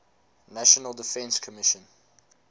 national defense commission